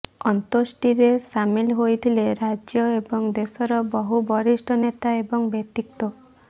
ଅନ୍ତୋଷ୍ଟିରେ ସାମିଲ ହୋଇଥିଲେ ରାଜ୍ୟ ଏବଂ ଦେଶର ବହୁ ବରିଷ୍ଠ ନେତା ଏବଂ ବ୍ୟକ୍ତିତ୍ୱ